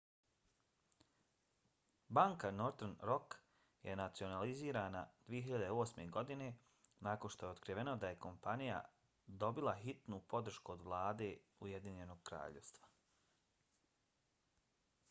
banka northern rock je nacionalizirana 2008. godine nakon što je otkriveno da je kompanija dobila hitnu podršku od vlade ujedinjenog kraljevstva